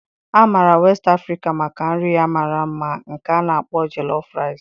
A maara West Africa maka nri ya mara mma nke a na-akpọ Jollof Rice.